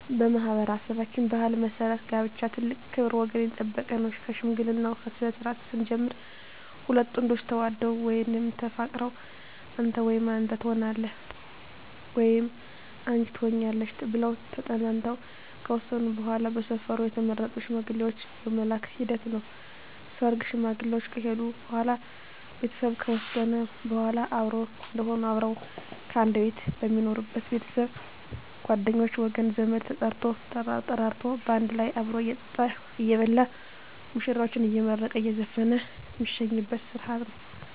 በማኅበረሠባችን ባሕል መሠረት ጋብቻ ትልቅ ክብር ወገን የጠበቀ ነው ከሽምግልናው ስነስርዓት ስንጀምር ሁለት ጥንዶች ተዋደው ወይም ተፋቅረው አንተ ወይም አንተ ተሆነኛለህ ወይም አንች ትሆኝኛለሽ ብለው ተጠናንተው ከወሰኑ በዋላ በሰፈሩ የተመረጡ ሽማግሌዎች የመላክ ሂደት ነው ሰርግ ሽማግሌዎች ከሄዱ በዋላ ቤተሰብ ከወሰነ በዋላ አብሮ እዴሆኑ አብረው ከአንድ ቤት ሜኖሩበች ቤተሰብ ጓደኞቼ ወገን ዘመድ ተጠርቶ ተጠራርቶ ባንድ ላይ አብሮ እየጠጣ እየበላ ሙሽራዎችን አየመረቀ እየዘፈነ ሜሸኝበት ስረሀት ነው